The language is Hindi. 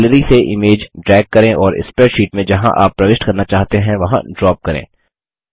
गैलरी से इमेज ड्रैग करें और स्प्रैडशीट मे जहाँ आप प्रविष्ट करना चाहते हैं वहाँ ड्रॉप करें